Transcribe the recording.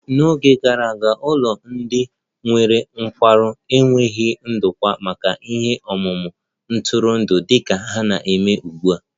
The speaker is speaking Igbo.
N'Oge gara aga, ụlọ ndị nwere nkwarụ enweghị ndokwa maka ihe omume ntụrụndụ dị ka ha na-eme ugbu a